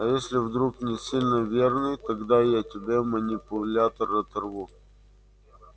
а если вдруг не сильно верный тогда я тебе манипулятор оторву